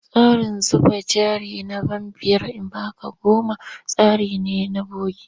Tsarin zuba jari na ban biyar in ba ka goma tsari ne na bogi.